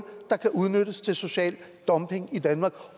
der kan udnyttes til social dumping i danmark